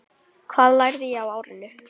Hvað lærði ég á árinu?